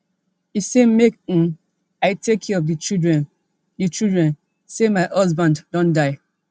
e say make um i take care of di children di children say my husband don die